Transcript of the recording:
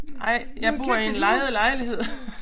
Nej jeg bor i en lejet lejlighed